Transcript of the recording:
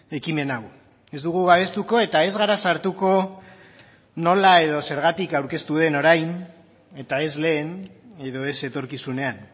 ekimen hau ez dugu babestuko eta ez gara sartuko nola edo zergatik aurkeztu den orain eta ez lehen edo ez etorkizunean